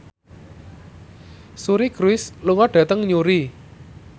Suri Cruise lunga dhateng Newry